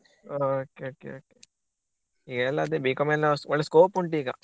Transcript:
Okay okay okay ಈಗ ಎಲ್ಲ ಅದೆ B.Com ಗೆಲ್ಲ ಒಳ್ಳೆ scope ಉಂಟು ಈಗ.